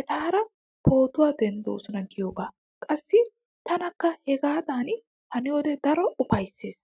etaara pootuwa denddoosona giyogaa. Qassi taanikka hegaadan haniyode daro ufayttays.